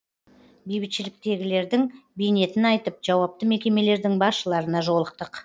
бейбітшіліктегілердің бейнетін айтып жауапты мекемелердің басшыларына жолықтық